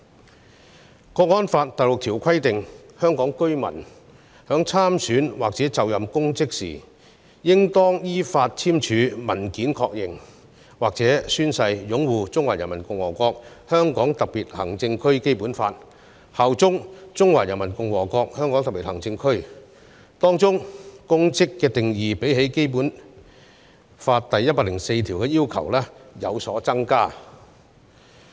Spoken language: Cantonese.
《香港國安法》第六條規定，香港居民在參選或就任公職時，應當依法簽署文件確認或宣誓擁護《中華人民共和國香港特別行政區基本法》和效忠中華人民共和國香港特別行政區，當中有關公職的定義，較《基本法》第一百零四條的要求更高。